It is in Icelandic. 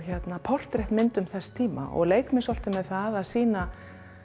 portrettmyndum þess tíma og leik mér svolítið með það að sýna